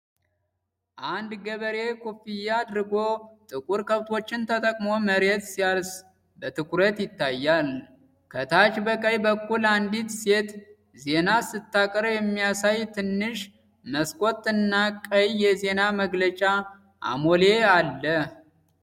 አንድ ገበሬ ኮፍያ አድርጎ ጥቁር ከብቶችን ተጠቅሞ መሬት ሲያርስ በትኩረት ይታያል። ከታች በቀኝ በኩል አንዲት ሴት ዜና ስታቀርብ የሚያሳይ ትንሽ መስኮት እና ቀይ የዜና መግለጫ አሞሌ አለ።